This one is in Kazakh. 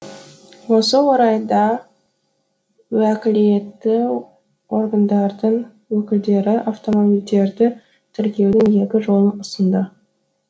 осы орайда уәкілетті органдардың өкілдері автомобилдерді тіркеудің екі жолын ұсынды